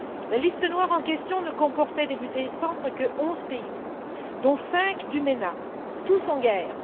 La liste noire en question ne comportait au début de décembre que onze pays, dont cinq du MENA, tous en guerre.